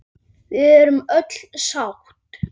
Við erum öll sátt.